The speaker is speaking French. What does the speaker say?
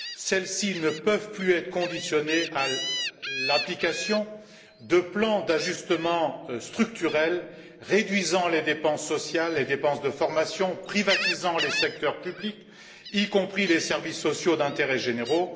Celles ci ne peuvent plus être conditionnées à l'application de plans d'ajustement structurel réduisant les dépenses sociales, les dépenses de formation, privatisant les secteurs publics, y compris les services sociaux d'intérêt général.